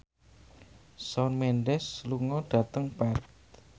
Shawn Mendes lunga dhateng Perth